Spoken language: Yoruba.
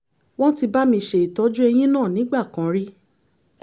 wọ́n ti bá mi ṣe ìtọ́jú eyín náà nígbà kan rí